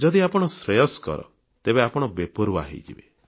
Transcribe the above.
ଯଦି ଆପଣ ଶ୍ରେୟସ୍କର ତେବେ ଆପଣ ବେପରୁଆ ହୋଇଯିବେ